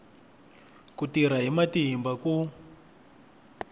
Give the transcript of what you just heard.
ku tirha hi matimba ku